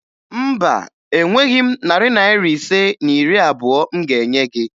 Mba, enweghi m narị Naira ise na iri abụo m ga-enye gị